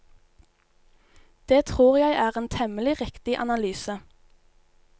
Det tror jeg er en temmelig riktig analyse.